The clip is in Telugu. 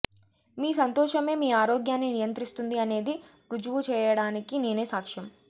మీ సంతోషమే మీ ఆరోగ్యాన్ని నియంత్రిస్తుంది అనేది ఋజువు చేయడానికి నేనే సాక్ష్యం